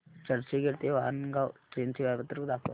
चर्चगेट ते वाणगांव ट्रेन चे वेळापत्रक दाखव